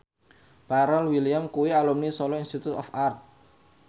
Pharrell Williams kuwi alumni Solo Institute of Art